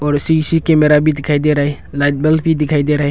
और CC camera भी दिखाई दे रहा है लाइट बल्ब भी दिखाई दे रहा है।